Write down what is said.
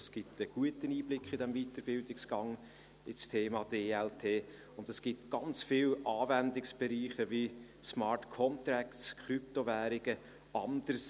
Das gibt einen guten Einblick in diesem Weiterbildungsgang in das Thema DLT, und es gibt ganz viele Anwendungsbereiche wie Smart Contracts, Krypto-Währungen, und anderes.